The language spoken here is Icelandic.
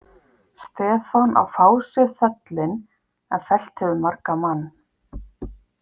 Stefán á fáséð föllin en fellt hefur margan mann.